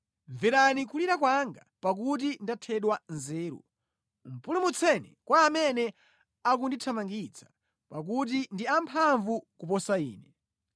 Mverani kulira kwanga pakuti ndathedwa nzeru; pulumutseni kwa amene akundithamangitsa pakuti ndi amphamvu kuposa ine.